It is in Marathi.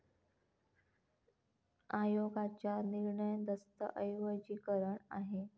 आयोगाच्या निर्णय दस्तऐवजीकरण आहे.